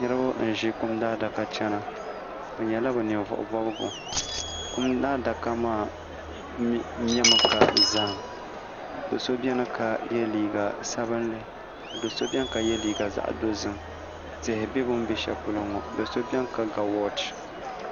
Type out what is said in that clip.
niriba n-ʒi kum adaka chana bɛ nyɛla bɛ ninvuɣ' bɔbigu kum adaka maa memi ka zahim do' so beni ka ye liiga sabinli ka do' so beni ka ye liiga zaɣ' dozim tihi be bɛ ni be shɛli polo ŋɔ do' so beni ka ga wɔɔchi